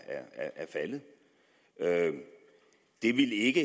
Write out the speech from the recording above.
faldet det ville ikke